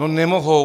No nemohou.